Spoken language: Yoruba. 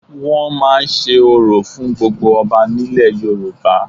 Wọ́n máa ń se orò fún gbogbo ọba nílẹ̀ Yorùbá